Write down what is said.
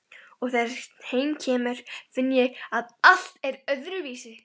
Og þegar heim kemur finn ég að allt er öðruvísi.